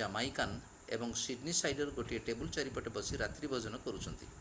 Jamaican ଏବଂ Sydneysider ଗୋଟିଏ table ଚାରିପଟେ ବସି ରାତ୍ରିଭୋଜନ କରୁଛନ୍ତି